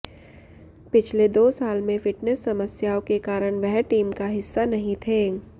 पिछले दो साल में फिटनेस समस्याओं के कारण वह टीम का हिस्सा नहीं थे